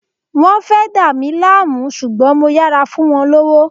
Wán fẹ́ dá mí láàmú ṣùgbọ́n mo yára fún wọn lówó